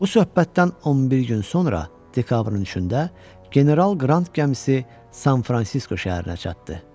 Bu söhbətdən 11 gün sonra, dekabrın üçündə General Qrant gəmisi San Fransisko şəhərinə çatdı.